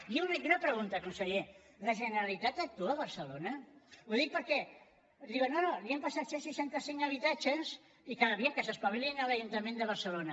i una pregunta conseller la generalitat actua a barcelona ho dic perquè diuen no no li hem passat cent i seixanta cinc habitatges i a veure que s’espavilin a l’ajuntament de barcelona